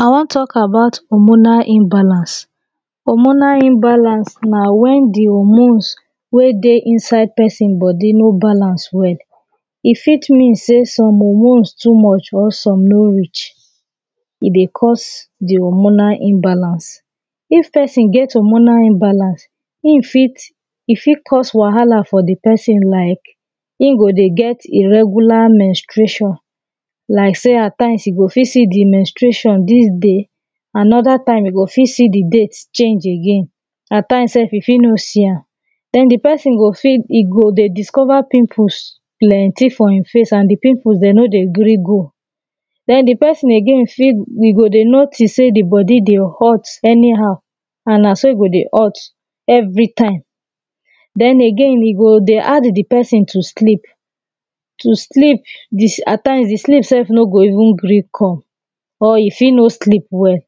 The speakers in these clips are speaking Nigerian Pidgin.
i won talk about homonal inbalance homonal imbalance na wen di homones wen dey inside pesin bodi no balance well e fit mean sey some omones too much or e no reach e dey cause di homonal imbalance. if pesin get di homonal imbalance in fit e fit cause wahala for di pesin like in go dey get irregular mnstratin like sey atimes you go fit see di menstration dis dey anoda time you o fit see di date change again atimes self you fit no see am den di pesin fit e go de discover pimples plenty for e face and di pimples de no dey gree go den di pesin again fit e go dey notices sey di bodi dey hot any how and na so e go dey hot every time den again e go dey hard di pesin to sleep to sleep atimes di sleep self no go even gree come or you fit no sleep well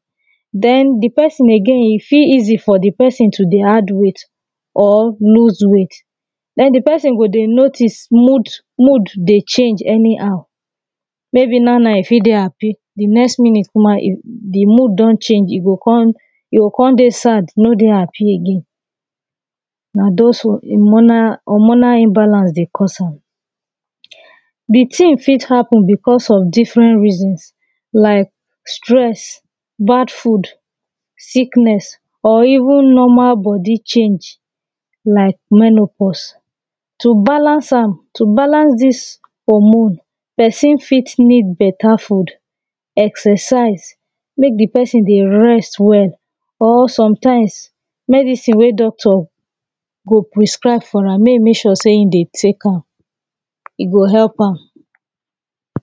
den di pesin again e fit easy for di pesin to dey add weigth or loose weight den di pesin go dey notice mood mood dey change anyhow maybe na now e fit dey happy di next minute di mood don change e o kon dey sad no dey happy again na those homonal homonal imbalance dey cause am di tin fit happen because of different reasons like stress bad food, sickness, or even normal bodi change. like menopause to balance am to balance dis homon, pesin fit need beta food excersise mek di pesin dey rest well or sometimes mek dis tin wey doctor go priscribe for am mek e mek sure sey e dey tek am e go help am